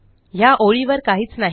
ह्या ओळीवर काहीच नाही